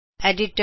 editor